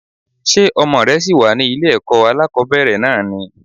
Ṣé ọmọ rẹ ṣì wà ní ilé ẹ̀kọ́ alákòbẹ̀rẹ̀ náà ni?